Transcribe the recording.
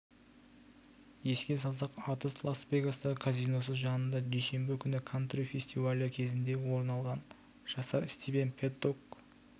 еске салсақ атыс лас-вегастағы казиносы жанында дүйсенбі күні кантри фестивалі кезінде орын алған жасар стивен пэддок